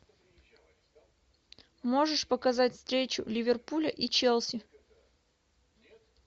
можешь показать встречу ливерпуля и челси